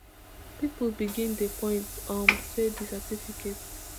pipo begin dey point um say di certificate